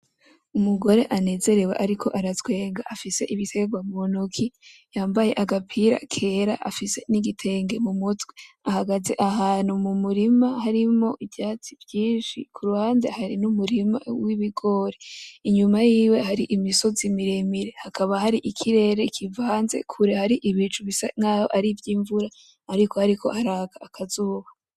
Umugore anezerewe ariko aratwenga afise ibiterwa mu ntoki, yambaye agapira kera afise n'igitenge mu mutwe, ahagaze ahantu mu murima harimwo ivyatsi vyinshi, ku ruhande hari n'umurima w'ibigori. Inyuma yiwe hari imisozi miremire, hakaba hari ikirere kivanze kure hari ibicu bisa naho ari ivy'imvura ariko hariko haraka akazuba.